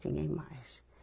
Tinha imagem.